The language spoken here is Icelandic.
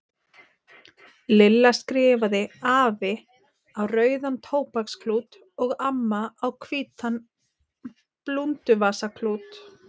Lilla skrifaði AFI á rauðan tóbaksklút og AMMA á hvítan blúnduvasaklút.